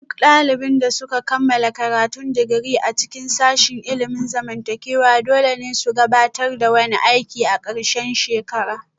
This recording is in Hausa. Duk daliban da suka kammala karatun digiri a cikin sashin ilimin zamantakewa dole ne su gabatar da wani aiki a ƙarshen shekara